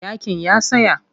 Yaƙin ya tsaya.